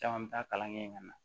Caman mi taa kalan kɛ yen ka na